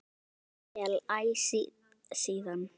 Okkur samdi vel æ síðan.